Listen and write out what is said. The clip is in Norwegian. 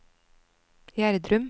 Gjerdrum